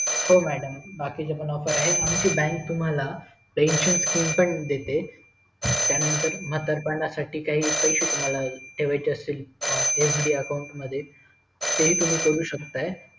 हो madm बाकीचे पण ऑफर आहे आमची बँक तुम्हाला pension देते त्यानंतर म्हातारपणासाठीचे काही पैसेतुम्हाला ठेवाय असतील F D ACCOUNT मध्ये ते हि तुम्ही करू शेकत